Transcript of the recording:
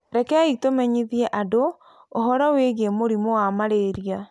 Rekei tũmenyithie andũ ũhoro wĩgiĩ mũrimũ wa malaria.